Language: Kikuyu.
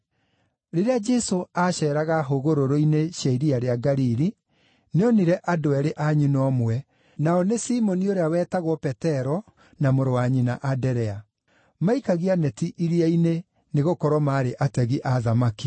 Rĩrĩa Jesũ aaceeraga hũgũrũrũ-inĩ cia Iria rĩa Galili, nĩonire andũ eerĩ a nyina ũmwe, nao nĩ Simoni ũrĩa wetagwo Petero, na mũrũ wa nyina Anderea. Maikagia neti iria-inĩ, nĩgũkorwo maarĩ ategi a thamaki.